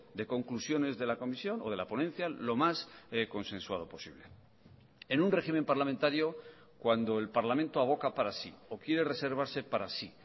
de conclusiones de la comisión o de la ponencia lo más consensuado posible en un régimen parlamentario cuando el parlamento aboca para sí o quiere reservarse para sí